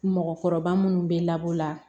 Mɔgɔkɔrɔba munnu bɛ labɔ la